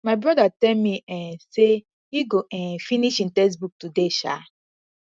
my brother tell me um say e go um finish im textbook today um